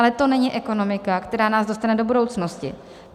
Ale to není ekonomika, která nás dostane do budoucnosti.